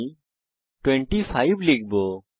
আমি 25 লিখবো